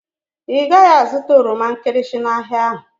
Ị gaghị azụta oroma nkịrịsị n'ahịa ahụ